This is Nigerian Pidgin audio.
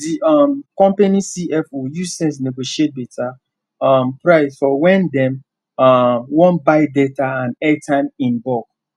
the um company c f o use sense negotiate better um price for when dem um wan buy data and airtime in bulk